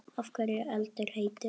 Af hverju er eldur heitur?